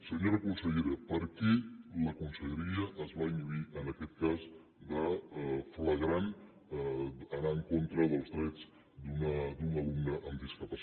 senyora consellera per què la conselleria es va inhibir en aquest cas flagrant d’anar en contra dels drets d’un alumne amb discapacitat